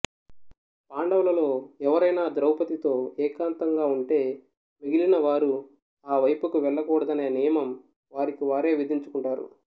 పాండవులలో ఎవరైనా ద్రౌపదితో ఏకాంతంగా ఉంటే మిగిలిన వారు ఆ వైపుకు వెళ్లకూడదనే నియమం వారికి వారే విధించుకుంటారు